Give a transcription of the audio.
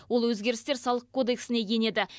ол өзгерістер салық кодексіне енеді